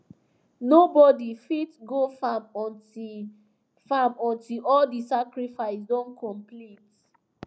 nobody fit go farm until farm until all the sacrifice don complete